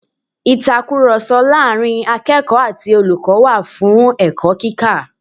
Ìtakùròsọ láàrin akẹ́ẹ̀kọ̀ọ́ ati olùkọ́ wà fún ẹ̀kọ́ kíkọ́